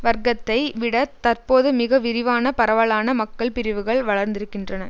வர்க்கத்தை விட தற்போது மிக விரிவான பரவலான மக்கள் பிரிவுகள் வளர்ந்திருக்கின்றன